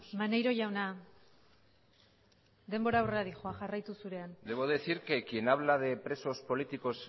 maneiro jauna denbora aurrera dihoa jarraitu zurean debo decir que quien habla de presos políticos